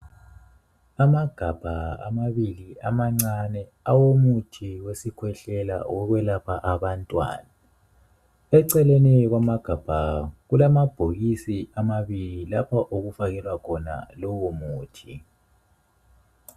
Amagabha amabili amancane awomuthi wesikhwehlela owokwelapha abantwana. Eceleni kwamagabha kulamabhokisi amabili lapha okufakelwa lowo muthi.